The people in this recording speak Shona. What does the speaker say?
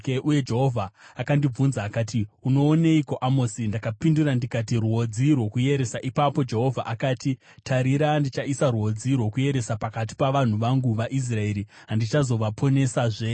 Uye Jehovha akandibvunza akati, “Unooneiko, Amosi?” Ndakapindura ndikati, “Rwodzi rwokuyeresa.” Ipapo Jehovha akati, “Tarira, ndichaisa rwodzi rwokuyeresa pakati pavanhu vangu vaIsraeri, handichavaponesazve.